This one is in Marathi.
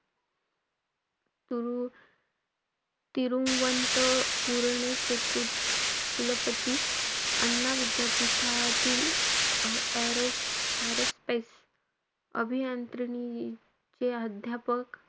तूरु~ तिरुवनंतपूरनेचे कुलपती अण्णा विद्यापीठातील, अं aero-aero space अभियांत्रिणीचे अध्यापक,